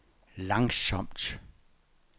langsomt